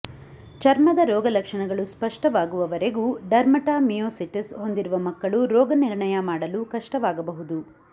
ಚರ್ಮದ ರೋಗ ಲಕ್ಷಣಗಳು ಸ್ಪಷ್ಟವಾಗುವವರೆಗೂ ಡರ್ಮಟಮಿಯೊಸಿಟಿಸ್ ಹೊಂದಿರುವ ಮಕ್ಕಳು ರೋಗನಿರ್ಣಯ ಮಾಡಲು ಕಷ್ಟವಾಗಬಹುದು